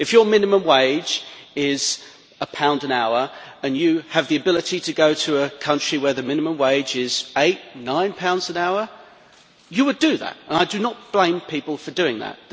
If your minimum wage is GBP 1 an hour, and you have the ability to go to a country where the minimum wage is GBP 8 or 9 an hour, you would do that, and I do not blame people for doing that.